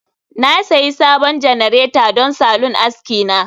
Na sayi sabon janareta don salon aski na